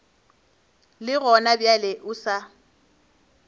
le gona bjale o sa